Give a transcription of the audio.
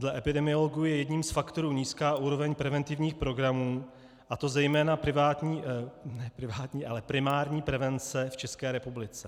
Dle epidemiologů je jedním z faktorů nízká úroveň preventivních programů, a to zejména primární prevence v České republice.